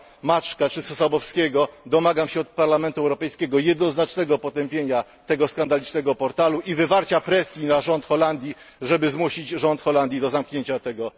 Maczka czy Sosabowskiego domagam się od Parlamentu Europejskiego jednoznacznego potępienia tego skandalicznego portalu i wywarcia presji na rząd Holandii, żeby zmusić rząd Holandii do zamknięcia tego